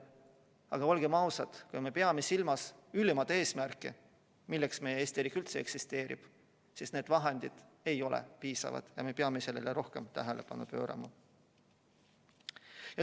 Aga olgem ausad, kui me peame silmas ülimat eesmärki, milleks meie Eesti riik üldse eksisteerib, siis need vahendid ei ole piisavad ja me peame sellele rohkem tähelepanu pöörama.